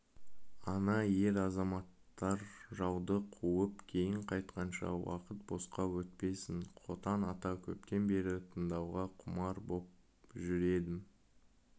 ана ер-азаматтар жауды қуып кейін қайтқанша уақыт босқа өтпесін қотан ата көптен бері тыңдауға құмар боп жүр едім